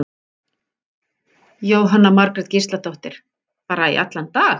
Jóhanna Margrét Gísladóttir: Bara í allan dag?